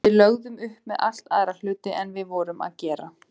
Við lögðum upp með allt aðra hluti en við vorum að gera.